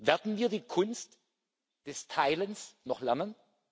Werden wir die Kunst des Teilens noch lernen?